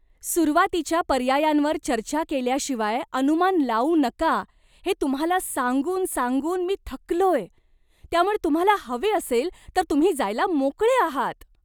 सुरुवातीच्या पर्यायांवर चर्चा केल्याशिवाय अनुमान लावू नका हे तुम्हाला सांगून सांगून मी थकलोय, त्यामुळे तुम्हाला हवे असेल तर तुम्ही जायला मोकळे आहात.